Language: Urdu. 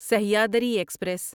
سہیادری ایکسپریس